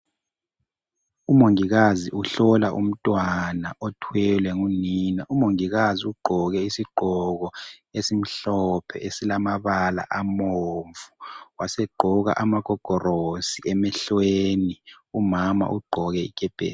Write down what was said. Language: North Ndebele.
Umongikazi uhlola umntwana othwelwe ngunina, umongikazi ugqoke isigqoko esimhlophe esilamabala abomvu wasegqoka amagogorosi emehlweni umama ugqoke ikepesi.